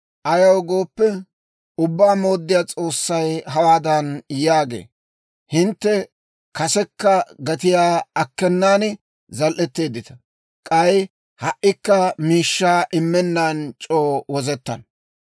Ayaw gooppe, Ubbaa Mooddiyaa S'oossay hawaadan yaagee; «Hintte kasekka gatiyaa akkenan zal"eteeddita; k'ay ha"ikka miishshaa immennan c'oo wozettana.